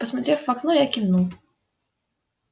посмотрев в окно я кивнул